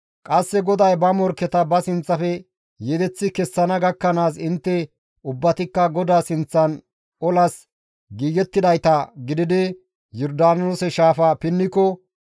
qasseka GODAY ba morkketa ba sinththafe yedeththi kessana gakkanaas intte ubbatikka GODAA sinththan olas giigettidayta gididi Yordaanoose shaafaa pinniko,